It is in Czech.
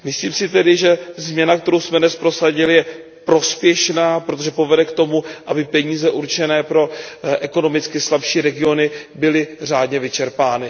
Myslím si tedy, že změna, kterou jsme dnes prosadili, je prospěšná, protože povede k tomu, aby peníze určené pro ekonomicky slabší regiony byly řádně vyčerpány.